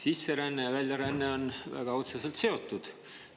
Sisseränne ja väljaränne on väga otseselt seotud.